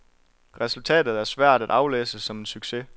Resultatet er svært at aflæse som en succes.